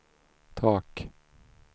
tak